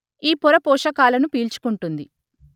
ఈ పొర పోషకాలను పీల్చుకుంటుంది